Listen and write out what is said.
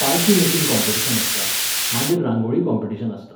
पालखी making competition आसता, मागीर रांगोळी कॉम्पिटिशन आसता.